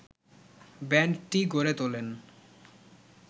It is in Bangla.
ব্যান্ডটি গড়ে তোলেন